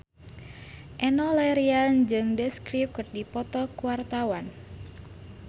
Enno Lerian jeung The Script keur dipoto ku wartawan